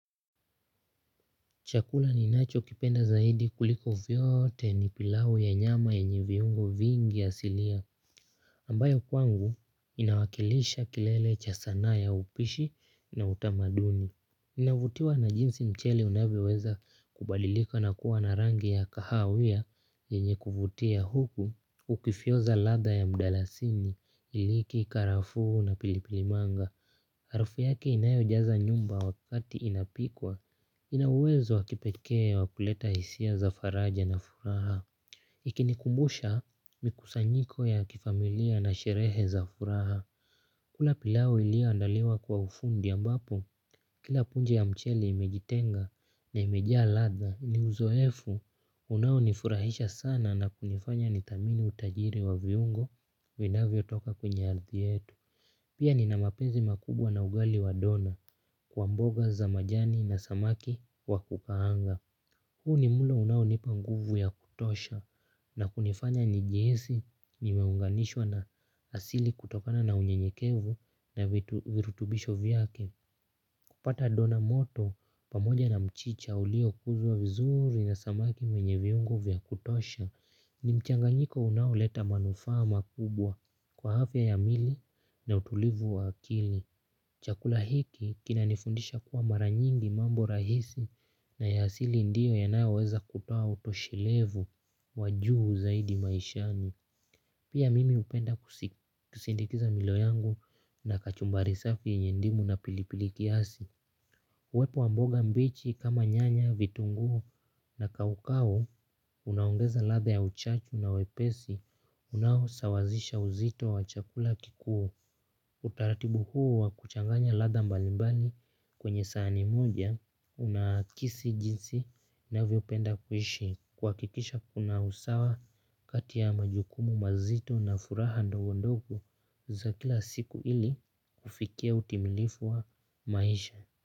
Chakula ni nacho kipenda zaidi kuliko vyoote ni pilau ya nyama enye viungo vingi asilia ambayo kwangu inawakilisha kilele cha sanaa ya upishi na utamaduni. Ninavutiwa na jinsi mchele unavio weza kubadilika na kuwa na rangi ya kahawia enye kuvutia huku ukifioza ladha ya mdala sini iliki karafu na pilipilimanga. Harufu yake inayo jaza nyumba wakati inapikwa, inauwezo wakipekee wakuleta hisia za faraja na furaha. Ikinikumbusha mikusanyiko ya kifamilia na sherehe za furaha. Kula pilau ilio andaliwa kwa ufundi ambapo, kila punje ya mcheli imejitenga na imejaa ladha ni uzoefu. Unao nifurahisha sana na kunifanya nidhamini utajiri wa viungo vinavyo toka kwenye ardhi yetu. Pia ni na mapenzi makubwa na ugali wa dona kwa mboga za majani na samaki wa kukaanga. Huu ni mulo unao nipa nguvu ya kutosha na kunifanya nijihisi ni meunganishwa na asili kutokana na unye nyekevu na vitu virutubisho vyake. Kupata dona moto pamoja na mchicha ulio kuzwa vizuuri na samaki mwenye viungo vya kutosha. Ni mchanganyiko unao leta manufaa makubwa kwa hafya ya mili na utulivu wa akili. Chakula hiki kina nifundisha kuwa mara nyingi mambo rahisi na ya hasili ndiyo yanayo weza kutoa utoshilevu wajuu zaidi maishani. Pia mimi hupenda kusi kusndikiza milo yangu na kachumbari safi yenye ndimu na pilipili kiasi. Wepo wa mboga mbichi kama nyanya, vitungu na kaukau, unaongeza ladha ya uchachu na wepesi, unahosawazisha uzito wa chakula kikuo. Utaratibu huo wa kuchanganya ladha mbalimbali kwenye saani moja, unaakisi jinsi navio penda kuishi. Kwakikisha kuna usawa kati ya majukumu mazito na furaha ndogondogo za kila siku ili kufikia utimilifu wa maisha.